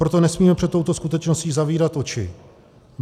Proto nesmíme před touto skutečností zavírat oči.